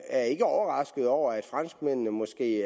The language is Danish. er ikke overrasket over at franskmændene måske